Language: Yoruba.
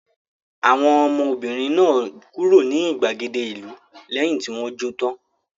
Àwọn ọmọbìnrin náà kúrò ní ìgbàgede ìlú lẹ́yìn tí wọ́n jó tán?